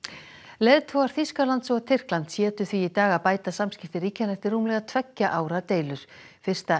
leiðtogar Þýskalands og Tyrklands hétu því í dag að bæta samskipti ríkjanna eftir rúmlega tveggja ára deilur fyrsta